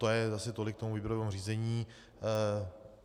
To je asi tolik k tomu výběrovému řízení.